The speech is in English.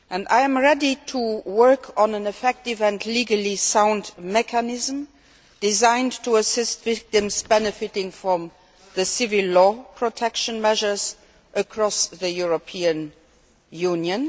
I am ready to work on an effective and legally sound mechanism designed to help victims benefit from civil law protection measures across the European Union.